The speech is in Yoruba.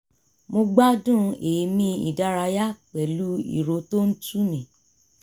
mo gbádùn èémí ìdárayá pẹ̀lú ìró tó ń tu mi